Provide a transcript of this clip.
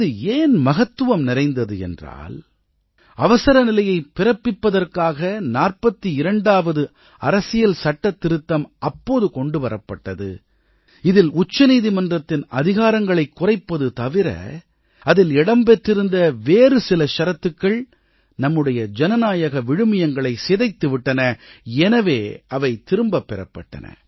இது ஏன் மகத்துவம் நிறைந்தது என்றால் அவசரநிலையை பிறப்பிப்பதற்காக 42ஆவது அரசியல்சட்டத் திருத்தம் அப்போது கொண்டு வரப்பட்டது இதில் உச்சநீதிமன்றத்தின் அதிகாரங்களைக் குறைப்பது தவிர அதில் இடம் பெற்றிருந்த வேறு சில ஷரத்துக்கள் நம்முடைய ஜனநாயக விழுமியங்களைச் சிதைத்துவிட்டன எனவே அவை திரும்பப் பெறப்பட்டன